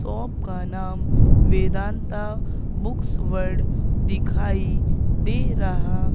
shop का नाम Vedant books world दिखाई दे रहा--